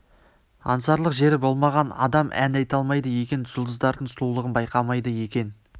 аңсарлық жері болмаған адам ән айта алмайды екен жұлдыздардың сұлулығын байқамайды екен